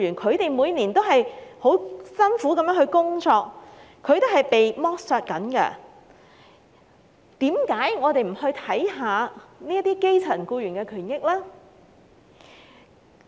他們每年也辛勞地工作，正在被剝削，為何我們不關注這些基層僱員的權益呢？